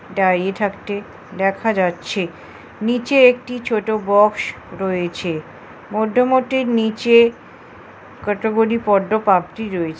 দাঁড়িয়ে থাকটে দেখা যাচ্ছে নিচে একটি ছোট বক্স রয়েছে মধ্যমটির নিচে কটগুটি পদ্দ পাপড়ি রয়েছ--